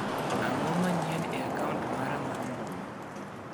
Ang'oo mayien e a kaunt ara mar mbui?